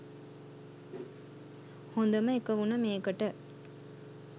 හොඳම එක වුණ මේකට